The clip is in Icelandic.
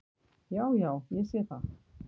"""Já, já. ég sé það."""